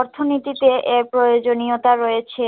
অর্থ নীতিতে এর প্রয়োজনীয়তা রয়েছে